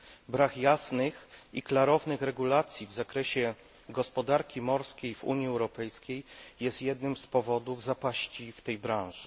Brak jasnych i klarownych regulacji w zakresie gospodarki morskiej w Unii Europejskiej jest jednym z powodów zapaści w tej branży.